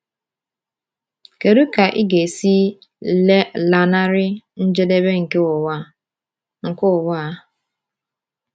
Kedu ka ị ga-esi lanarị njedebe nke ụwa a? nke ụwa a?